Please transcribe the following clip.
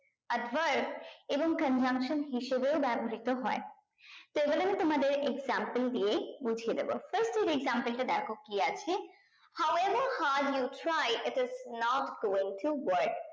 adverb এবং conjunction হিসাবেও ব্যবহৃত হয় তো এবার আমি তোমাদের example দিয়ে বুঝিয়ে দেব first এর example টা দেখো কি আছে how ever hard you try if it is not going to worker is not going to work